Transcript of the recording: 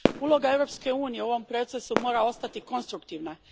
Uloga Europske unije u ovom procesu mora ostati konstruktivna.